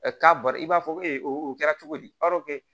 k'a bara i b'a fɔ o kɛra cogo di